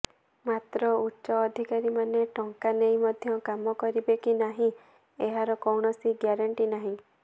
ମାତ୍ର ଉଚ୍ଚ ଅଧିକାରୀମାନେ ଟଙ୍କା ନେଇ ମଧ୍ୟ କାମ କରିବେ କି ନାହିଁ ଏହାର କୌଣସି ଗ୍ୟାରେଣ୍ଟି ନାହିଁ